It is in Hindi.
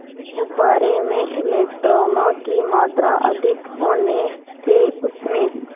गुब्बारे में इलेक्ट्रॉनों की मात्रा अधिक होने से उसमें